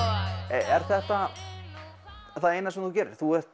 er þetta það eina sem þú gerir þú ert